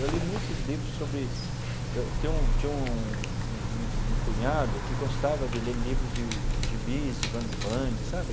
Eu li muitos livros sobre... Eu tinha um tinha um um cunhado que gostava de ler livros de gibis, de bang-bang, sabe?